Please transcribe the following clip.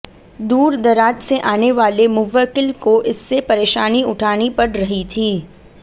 दूर दराज से आने वाले मुव्वकिल को इससे परेशानी उठानी पड़ रही थी